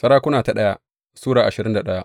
daya Sarakuna Sura ashirin da daya